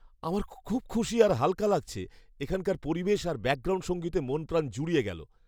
আমার খুব খুশি আর হালকা লাগছে, এখানকার পরিবেশ আর ব্যাকগ্রাউন্ড সঙ্গীতে মন প্রাণ জুড়িয়ে গেল।